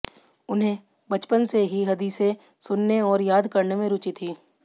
उन्हें बचपन से ही हदीसें सुनने और याद करने में रुचि थी